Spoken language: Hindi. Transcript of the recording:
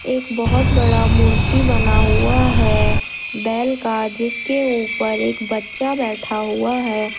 एक बहोत बड़ा मूर्ति बना हुआ है बैल का जिसके ऊपर एक बच्चा बैठा हुआ है।